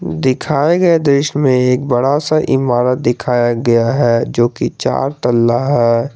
दिखाए गए दृश्य मे एक बड़ा सा ईमारत दिखाया गया है जो कि चार तल्ला है।